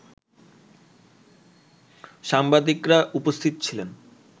সাংবাদিকরা উপস্থিত ছিলেন